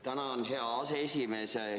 Tänan, hea aseesimees!